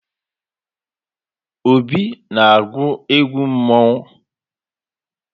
Obi na-agwụ egwụ mmọnwụ.